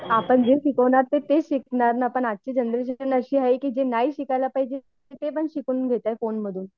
आपण जे शिकवणार ते तेच शिकणार ना. पण आजची जनरेशन अशी आहे की जे नाही शिकायला पाहिजे ते पण शिकून घेत आहे फोनमधून